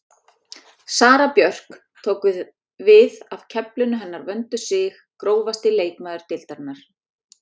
Sara Björk tók við af keflinu hennar Vöndu Sig Grófasti leikmaður deildarinnar?